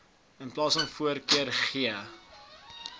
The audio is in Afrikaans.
iv voorkeur gee